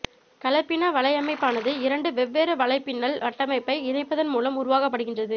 கலப்பின வலையமைப்பானது இரண்டு வெவ்வேறு வலைப்பின்னல் கட்டமைப்பபை இணைப்பதன் மூலம் உருவாக்கபடுகின்றது